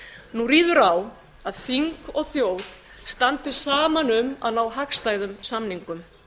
nú ríður á að þing og þá standi saman um að ná hagstæðum samningum